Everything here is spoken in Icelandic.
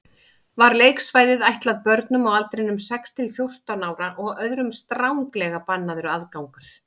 Var leiksvæðið ætlað börnum á aldrinum sex til fjórtán ára og öðrum stranglega bannaður aðgangur.